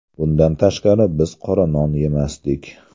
Bundan tashqari biz qora non yemasdik.